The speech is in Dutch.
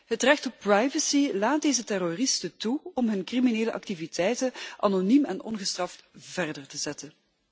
Het recht op privacy laat deze terroristen toe om hun criminele activiteiten anoniem en ongestraft voort te zetten.